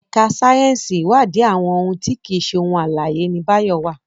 èka sáyẹnsì iwadi àwọn òun ti kii ṣe ohun alãye, ní Bayo wá.